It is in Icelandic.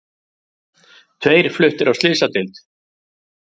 Tveir fluttir á slysadeild